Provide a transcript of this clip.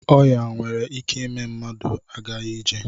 Ọya nwere ike ime mmadụ agaghi ije.